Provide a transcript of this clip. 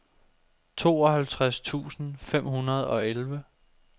tooghalvtreds tusind fem hundrede og elleve